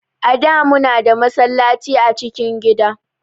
A da mu na da masallaci a cikin gida